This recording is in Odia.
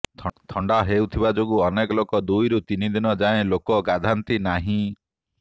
ଥଣ୍ଡା ହେଉଥିବା ଯୋଗୁଁ ଅନେକ ଲୋକ ଦୁଇରୁ ତିନି ଦିନ ଯାଏଁ ଲୋକେ ଗାଧାନ୍ତି ନାହିଁ